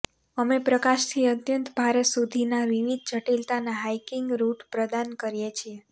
અમે પ્રકાશથી અત્યંત ભારે સુધીના વિવિધ જટિલતાના હાઇકિંગ રૂટ પ્રદાન કરીએ છીએ